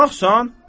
Qonaqsan?